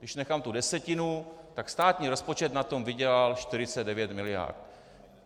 Když nechám tu desetinu, tak státní rozpočet na tom vydělal 49 mld.